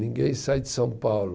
Ninguém sai de São Paulo